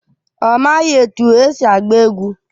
Ọ maghị etu esi agba egwu.